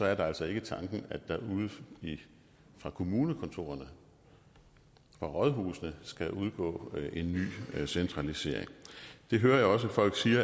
altså ikke tanken at der fra kommunekontorerne og rådhusene skal udgå en ny centralisering det hører jeg også folk sige